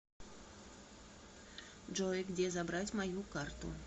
джой где забрать мою карту